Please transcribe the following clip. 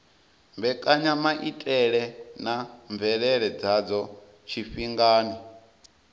mbekanyamaitele na mvelele dzadzo tshifhingani